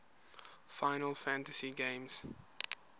final fantasy games